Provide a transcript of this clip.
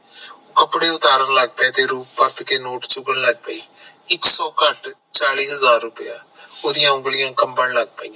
ਕੱਪੜੇ ਉਤਾਰਨ ਲੱਗ ਪਾਏ ਤੇ ਰੂਪੋ ਭੱਜ ਕੇ ਨ ਚੁਗਣ ਲਗ ਪਈ, ਇਕ ਸੋ ਘੱਟ ਚਾਲੀ ਹਜਾਰ ਰੁਪਈਆ ਓਹਦੀਆਂ ਉਂਗਲੀਆਂ ਕਮਬੰ ਲੱਗ ਪਾਇਆ